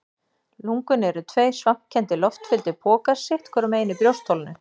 Lungun eru tveir svampkenndir, loftfylltir pokar sitt hvorum megin í brjóstholinu.